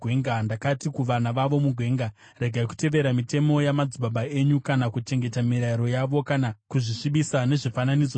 Ndakati kuvana vavo mugwenga, “Regai kutevera mitemo yamadzibaba enyu kana kuchengeta mirayiro yavo kana kuzvisvibisa nezvifananidzo zvavo.